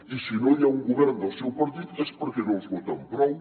i si no hi ha un govern del seu partit és perquè no els voten prou